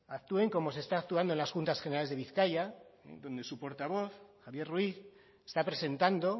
actúen como se está actuando en las juntas generales de bizkaia donde su portavoz javier ruiz está presentando